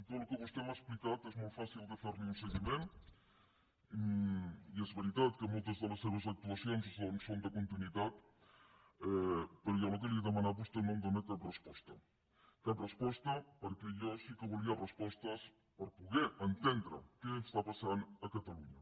tot el que vostè m’ha explicat és molt fàcil de fer ne un seguiment i és veritat que moltes de les seves actuacions doncs són de continuïtat però jo al que li he demanat vostè no em dóna cap resposta cap resposta perquè jo sí que volia respostes per poder entendre què està passant a catalunya